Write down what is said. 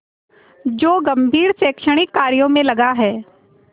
जो गंभीर शैक्षणिक कार्यों में लगा है